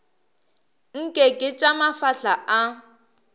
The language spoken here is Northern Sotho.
nke ke tša mafahla a